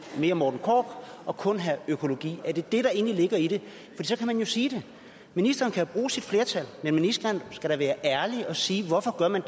mere morten korch og kun have økologi er det det der egentlig ligger i det for så kan man jo sige det ministeren kan jo bruge sit flertal men ministeren skal da være ærlig og sige hvorfor man